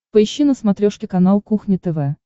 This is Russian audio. поищи на смотрешке канал кухня тв